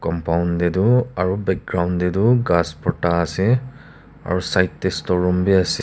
compound taetu aro background taetu ghas borta ase aro side tae storeroom bias--